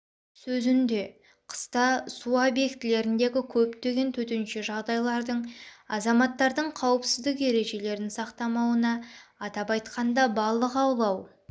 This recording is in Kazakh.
сөзінде қыста су объектілеріндегі көптеген төтенше жағдайлардың азаматтардың қауіпсіздік ережелерін сақтамауына атап айтқанда балық аулау